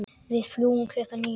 Við fljúgum klukkan níu.